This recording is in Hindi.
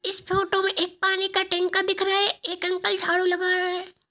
इस फोटो मे एक पानी का टंका दिख रहा है| एक अंकल झाड़ू लगा रहा है ।